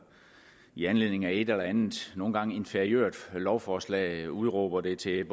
i anledning af et eller andet nogle gange et inferiørt lovforslag udråber det til